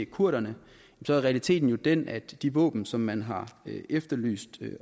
kurderne er realiteten jo den at de våben som man har efterlyst